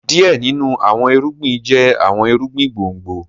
Some crops are root crops